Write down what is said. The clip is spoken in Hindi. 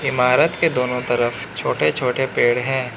इमारत के दोनों तरफ छोटे छोटे पेड़ हैं।